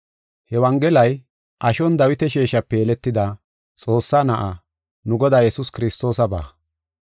He Wongelay ashon Dawita sheeshape yeletida, Xoossaa Na7aa, nu Godaa Yesuus Kiristoosaba.